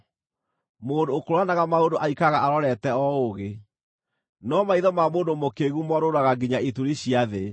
Mũndũ ũkũũranaga maũndũ aikaraga arorete o ũũgĩ, no maitho ma mũndũ mũkĩĩgu morũũraga nginya ituri cia thĩ.